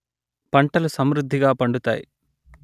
పంటలు సమృద్ధిగా పండుతాయి